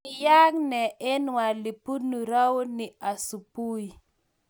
kayeaka nee eng weliipunuu rauni asubui